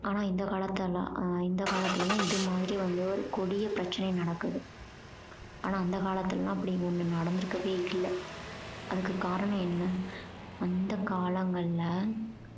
ஆனா இந்த காலத்துலலாம் இந்த காலத்துல தான் இது மாதிரி வந்து ஒரு கொடிய பிரச்சனை நடக்குது ஆனா அந்த காலத்துலலாம் அப்படி ஒன்னு நடந்திருக்கவே இல்ல அதுக்கு காரணம் என்ன அந்த காலங்கள்ல